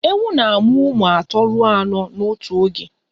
Ewu na-amụ ụmụ atọ ruo anọ n'otu oge